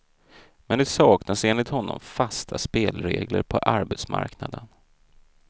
Men det saknas enligt honom fasta spelregler på arbetsmarknaden.